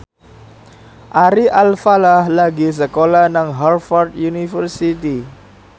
Ari Alfalah lagi sekolah nang Harvard university